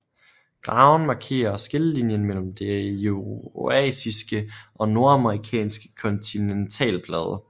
Graven markerer skillelinjen mellem den eurasiske og nordamerikanske kontinentalplade